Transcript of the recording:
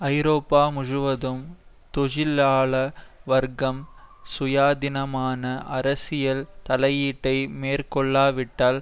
ஐரோப்பா முழுவதும் தொழிலாள வர்க்கம் சுயாதீனமான அரசியல் தலையீட்டை மேற்கொள்ளாவிட்டால்